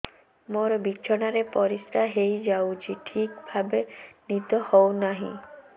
ମୋର ବିଛଣାରେ ପରିସ୍ରା ହେଇଯାଉଛି ଠିକ ଭାବେ ନିଦ ହଉ ନାହିଁ